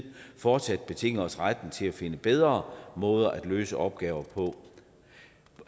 fortsat betinge os retten til at finde bedre måder at løse opgaver på